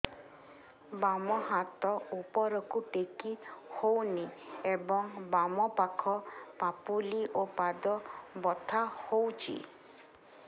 ବାମ ହାତ ଉପରକୁ ଟେକି ହଉନି ଏବଂ ବାମ ପାଖ ପାପୁଲି ଓ ପାଦ ବଥା ହଉଚି